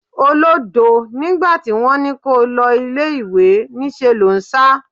Olódo! Nígbà tí wón ní kó o lọ ilẹ̀ ìwé, ní ṣe lò ń sá.